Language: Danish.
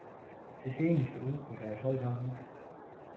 Det sceniske udtryk er i høj grad musisk.